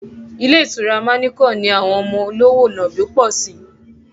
Ilé ìtura manequal ni àwọn ọmọ olówò nàbì pọ̀ sí